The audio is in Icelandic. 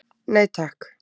Nei takk.